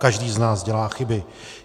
Každý z nás dělá chyby.